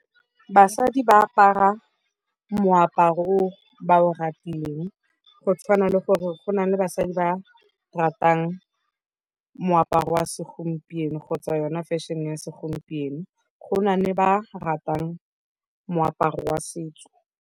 Basadi ba apara moaparo o ba o ratileng go tshwana le gore go na le basadi ba ratang moaparo wa segompieno kgotsa yona fashion-e ya segompieno. Go na ne ba ratang moaparo wa setso.